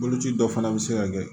Boloci dɔ fana bɛ se ka kɛ